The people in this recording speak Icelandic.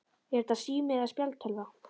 Er þetta sími eða spjaldtölva?